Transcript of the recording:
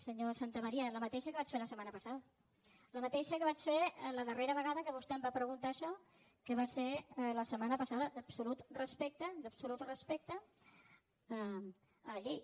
senyor santamaría la mateixa que vaig fer la setmana passada la mateixa que vaig fer la darrera vegada que vostè em va preguntar això que va ser la setmana passada d’absolut respecte d’absolut respecte a la llei